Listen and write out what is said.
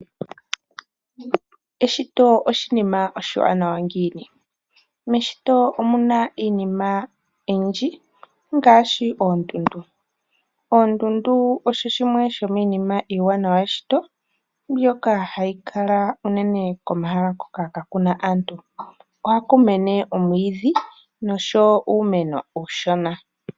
Eshito oshinima oshiwana ngiini. Meshito omuna iinima oyindji ngaashi oondundu. Oondundu odho dhimwe dhominima yimwe iiwanawa meshito ndhoka hadhi kala uunene komahala hoka kaakuna aantu ohaku mene omwiidhi noshowo uumeno uushona.